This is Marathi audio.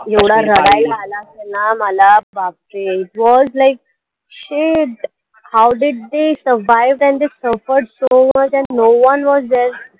एवढं रडायला आलं असेल ना मला बापरे it was like shit how did the survive and the suffered so much and no one was there